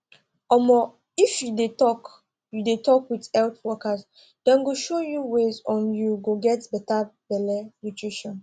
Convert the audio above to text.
omo if you de talk you de talk with health workers dem go show you ways on you go get better belle nutrition